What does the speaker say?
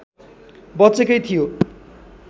बचेकै थियो